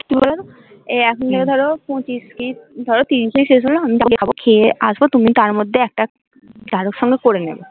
এই এখনো হম ধরো পঁচিশ কি ধরো তিরিশেই শেষ হল তারপরে খাবো খেয়ে আসবো তুমি তার মধ্যে একটা কারোর সঙ্গে করে নেবে